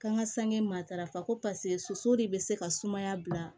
K'an ka sange matarafa ko paseke soso de bɛ se ka sumaya bila